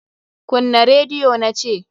Kunna rediyo na ce!